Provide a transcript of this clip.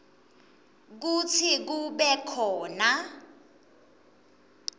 kutsi kube khona